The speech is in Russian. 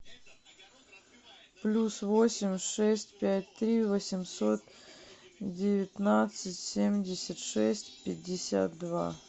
плюс восемь шесть пять три восемьсот девятнадцать семьдесят шесть пятьдесят два